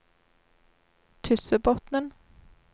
Tyssebotnen